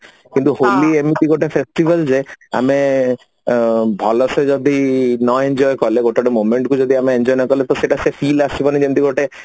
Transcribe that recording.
କିନ୍ତୁ ହୋଲି ଏମିତି ଗୋଟେ festival ଯେ ଆମେ ଭଲସେ ଯଦି ନ enjoy କଲେ ଗୋଟେ ଗୋଟେ moment କୁ ଯଦି enjoy ନ କଲେ ତ ସେଇଟା ସେ feel ଆସିବନି ଯେମିତି ଗୋଟେ